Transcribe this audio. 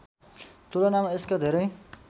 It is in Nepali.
तुलनामा यसका धेरै